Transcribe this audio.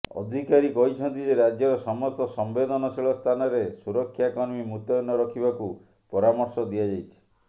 ଅଧିକାରୀ କହିଛନ୍ତି ଯେ ରାଜ୍ୟର ସମସ୍ତ ସମ୍ବେଦନଶୀଳ ସ୍ଥାନରେ ସୁରକ୍ଷାକର୍ମୀ ମୁତୟନ ରଖିବାକୁ ପରାମର୍ଶ ଦିଆଯାଇଛି